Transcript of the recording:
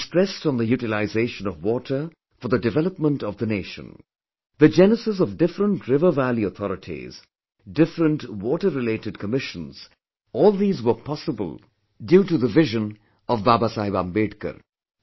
He stressed the utilization of water for the development of the nation The genesis of different river valley authorities, different water related commissions all these were possible due to the vision of Baba Saheb Ambedkar